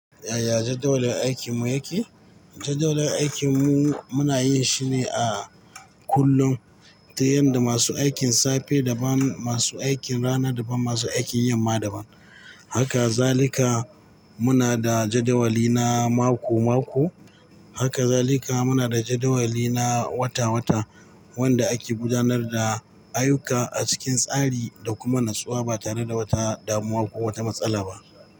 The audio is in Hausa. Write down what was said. Yaya jadawalin aikinmu yake? Jadawalin aikinmu muna yin shi ne a kullum ta yanda masu aikin safe daban, masu aikin rana daban, masu aikin yamma daban. Haka zalika muna da jadawali na mako-mako. Haka zalika muna da jadawali na wata-wata wanda ake gudanar da ayuka a cikin tsari da kuma natsuwa ba tare da wata damuwa ko wata matsala ba.